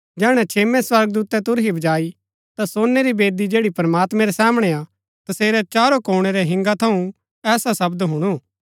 जैहणै छेम्मै स्वर्गदूतै तुरही बजाई ता सोनै री वेदी जैड़ी प्रमात्मैं रै सामणै हा तसेरै चारो कोणै रै हिंगा थऊँ ऐसा शब्द हुणु